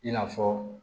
I n'a fɔ